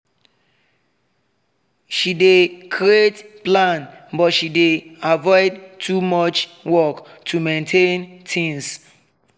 she dey create plan but she dey avoid too much work to maintain things